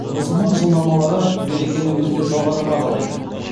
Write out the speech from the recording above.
мұсылман жылнамалары берекені өте жоғары бағалайды